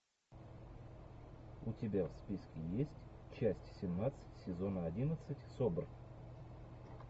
у тебя в списке есть часть семнадцать сезона одиннадцать собр